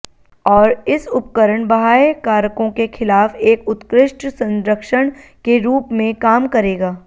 और इस उपकरण बाह्य कारकों के खिलाफ एक उत्कृष्ट संरक्षण के रूप में काम करेगा